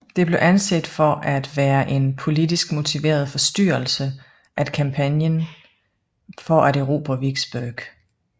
Det blev anset for at være en politisk motiveret forstyrrelse af kampagnen for at erobre Vicksburg